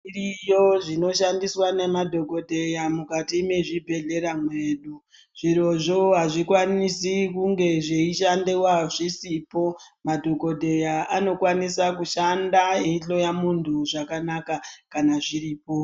Zviriyo zvinoshandiswa namadhogodheya mukati mezvibhedhlera mwedu. Zvirozvo hazvikwanisi kunge zveishandiwa zvisipo. Madhogodheya anokwanisa kushanda eihloya muntu zvakanaka kana zviripo.